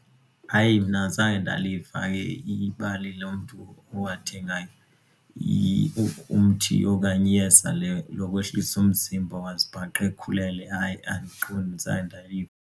Hayi mna zange ndaliva hayi ibali lo mntu awathengayo umthi okanye iyeza lokwehlisa umzimba wazibhaqa ekhulelwe, hayi andiqondi zange ndaliva.